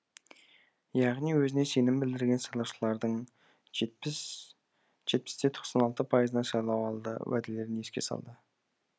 яғни өзіне сенім білдірген сайлаушылардың жетпіс те тоқсан алты пайызына сайлауалды уәделерін еске салды